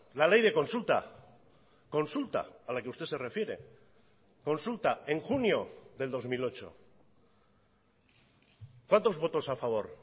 la ley de consulta consulta a la que usted se refiere consulta en junio del dos mil ocho cuántos votos a favor